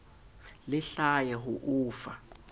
le hlahe ho o fa